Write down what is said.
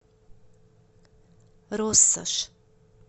россошь